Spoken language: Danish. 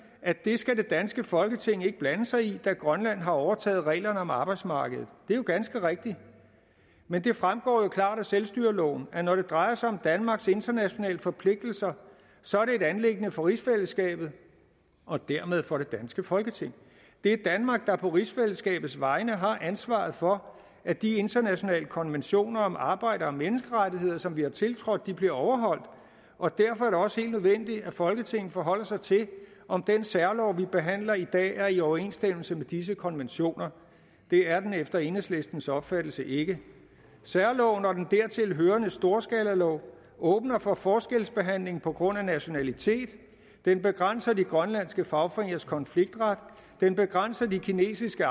at det skal det danske folketing ikke blande sig i da grønland har overtaget reglerne om arbejdsmarkedet det er jo ganske rigtigt men det fremgår jo klart af selvstyreloven at det når det drejer sig om danmarks internationale forpligtelser så er et anliggende for rigsfællesskabet og dermed for det danske folketing det er danmark der på rigsfællesskabets vegne har ansvaret for at de internationale konventioner om arbejds og menneskerettigheder som vi har tiltrådt bliver overholdt og derfor er det også helt nødvendigt at folketinget forholder sig til om den særlov vi behandler i dag er i overensstemmelse med disse konventioner det er den efter enhedslistens opfattelse ikke særloven og den dertilhørende storskalalov åbner for forskelsbehandling på grund af nationalitet den begrænser de grønlandske fagforeningers konfliktret den begrænser de kinesiske